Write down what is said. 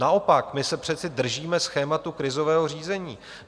Naopak, my se přece držíme schématu krizového řízení.